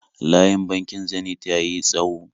Layin bankin Zenith ya ti tsawo